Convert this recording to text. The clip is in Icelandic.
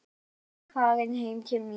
Nú er ég farin heim til mín.